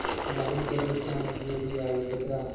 नाहीं घरे श्याम घेरि आये बदरा